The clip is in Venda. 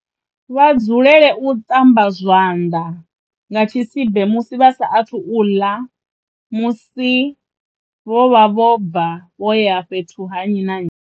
Vha dzulele u ṱamba zwanḓa nga tshisibe musi vha sa athu ḽa na musi vho vha vho bva vho ya fhethu ha nnyi na nnyi.